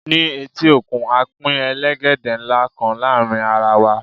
ní eti okun, a Pin elegede nla kan láàrin ara wa